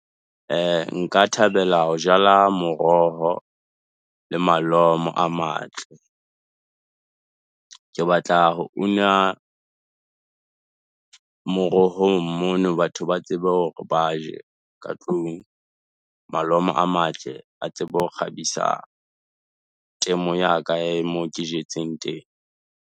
Nka thabela ho jala moroho le malomo a matle. Ke batla ho una morohong mono, batho ba tsebe hore ba je ka tlung, malomo a matle a tsebe ho kgabisa, temo ya ka ya mo ke jetseng teng.